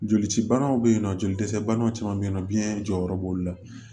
Joli cibanaw be yen nɔ joli dɛsɛbanaw caman be yen nɔ biyɛn jɔyɔrɔ b'olu la